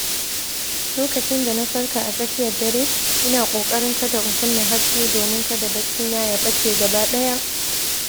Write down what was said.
Lokacin da na farka a tsakiyar dare, ina kokarin kada in kunna haske domin kada baccina ya ɓace gaba ɗaya.